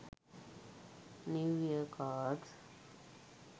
new year cards